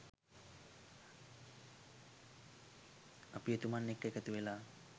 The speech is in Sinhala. අපි එතුමන් එක්ක එකතුවෙලා